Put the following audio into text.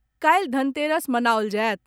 काल्हि धनतेरस मनाओल जायत।